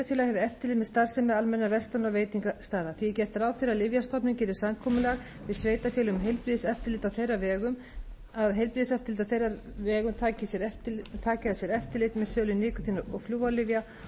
og veitingastaða því er gert er ráð fyrir að lyfjastofnun geri samkomulag við sveitarfélög um að heilbrigðiseftirlit á þeirra vegum taki að sér eftirlit með sölu nikótín og flúorlyfja og